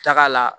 Taga la